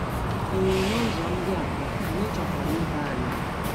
Ee, n'ụzọ ndị a kwa, anyị chọkwara ibe anyị.